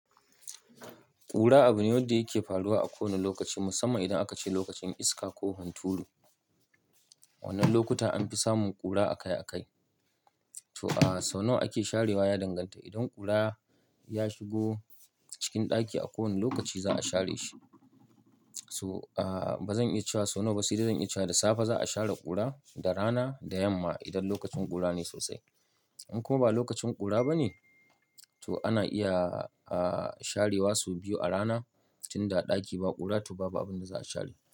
Kura abu ne wanda yake faruwa a kowane lokaci, musamman idan aka ce lokacin iska ko hunturu. Wannan lokuta an fi samun ƙura akai akai. To a sau nawa ake sharewa? Ya danganta. Idan ƙura ya shigo cikin ɗaki a kowane lokaci za a share shi. So a ba zan iya cewa sau nawa ba, si dai zan iya cewa da safe za a share ƙura da rana da yamma idan lokacin ƙura ne sosai. In kuma ba lokacin ƙura ba ne, to ana iya a sharewa so biyu a rana tunda a ɗaki ba ƙura to ba abin da za a share.